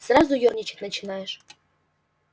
сразу ёрничать начинаешь